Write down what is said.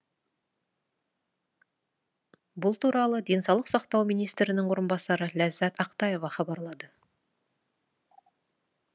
бұл туралы денсаулық сақтау министрінің орынбасары ләззат ақтаева хабарлады